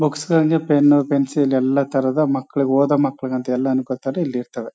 Books ಗಳಿದೆ pen pencil ಎಲ್ಲ ತರದ ಮಕ್ಕಳಿಗೆ ಓದು ಮಕ್ಕಳಿಗೆ ಅಂತ ಎಲ್ಲ ಅನ್ಕೊಂತಾರೆ ಇಲ್ಲಿರ್ತಾರೆ.